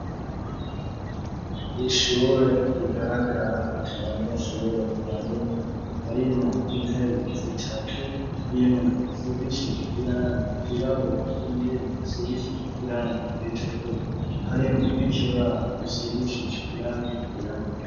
Ishure rigaragara at'abanyeshure barimwo, intebe zitatu ,imwe isigishije irangi ryirabura iyindi isigishije irangi ritukura, harimwe n'ikibaho kisigishije irangi ryirabura.